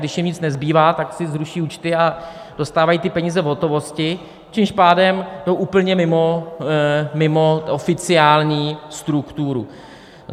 Když jim nic nezbývá, tak si zruší účty a dostávají ty peníze v hotovosti, čímž pádem jsou úplně mimo oficiální strukturu.